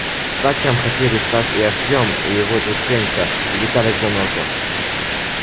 сталкером хотели стать и артем и его друг женька и виталик-заноза